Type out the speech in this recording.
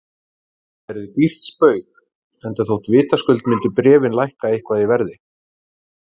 Það yrði dýrt spaug, enda þótt vitaskuld myndu bréfin lækka eitthvað í verði.